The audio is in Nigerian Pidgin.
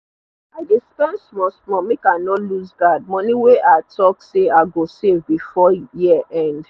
i dey spend small small make i no looseguard money wey i talk say i go save before year end